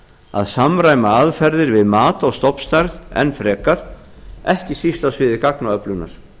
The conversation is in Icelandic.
að samræma aðferðir við mat á stofnstærð enn frekar ekki síst á sviði gagnaöflunar